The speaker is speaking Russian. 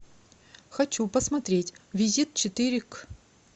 хочу посмотреть визит четыре к